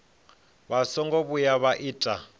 vha songo vhuya vha ita